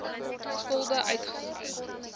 skulde uitgesluit